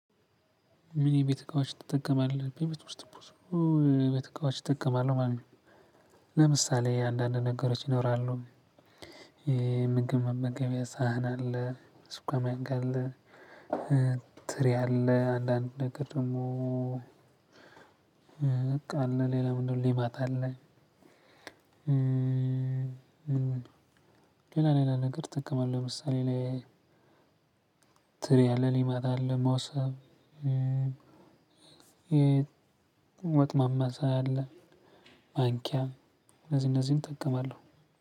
ምን የቤት እቃዎች ትጠቀማለህ በቤት ውስጥ ብዙ የቤት እቃዎች እጠቀማለሁ ማለት ነው። ለምሳሌ አንዳንድ ነገሮች ይኖራሉ። የምግብ መመገቢያ ሳህን አለ ሹካ ማንኪያ አለ ትሪ አለ አንዳንድ ነገር ደግሞ። አቃ አለ ሌላ ምንድነው? ሌማት አለ። ሌላ ሌላ ነገር አጠቀማለሁ ለምሳሌ ላይ ትሪ አለ ሌማት አለ ሞሰብ። የወጥ ማማሰያ አለ። ማንኪያም እነዚህ እነዚህን እጠቀማለሁ።